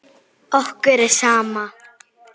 Okkur er sama.